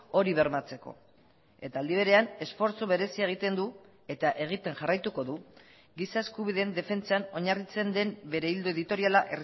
hori bermatzeko eta aldi berean esfortzu berezia egiten du eta egiten jarraituko du giza eskubideen defentsan oinarritzen den bere ildo editoriala